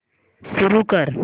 सुरू कर